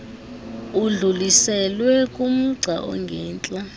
udluliselwe kumgca ongentla